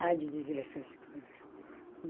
Ah de diversas coisas.